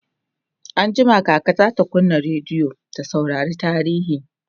anjima kaka zata kunna rediyo ta saurari tarihi